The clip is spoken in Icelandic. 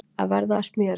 Að verða að smjöri